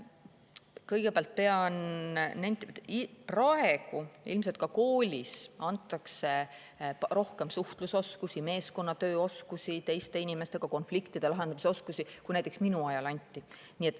Kõigepealt pean nentima, et praegu, ilmselt ka koolis antakse rohkem suhtlusoskusi, meeskonnatööoskusi, teiste inimestega konfliktide lahendamise oskusi, kui näiteks minu ajal anti.